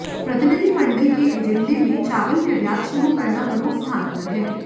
प्रतिनिधिमंडल के एजेंडे में चावल निर्यात शुरू करना प्रमुख स्थान पर है